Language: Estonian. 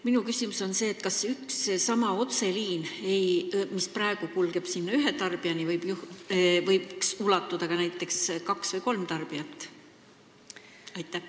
Minu küsimus on selline: kas üks ja seesama otseliin, mis praegu kulgeb ühe tarbija juurde, võiks teenindada näiteks ka kaht või kolme tarbijat?